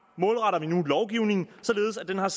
målretter vi nu lovgivningen således at den har